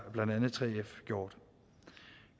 gjort